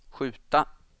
skjuta